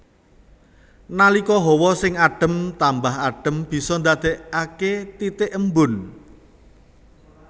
Nalika hawa sing adem tambah adem bisa dadèkake titik embun